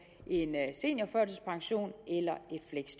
en seniorførtidspension